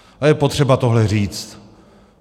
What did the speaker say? Je potřeba tohle říct.